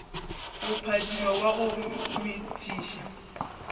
go phadima wa go metšiša